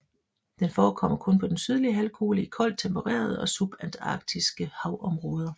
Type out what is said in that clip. Den forekommer kun på den sydlige halvkugle i koldt tempererede og subantarktiske havområder